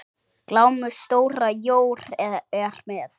Glámu stóra jór er með.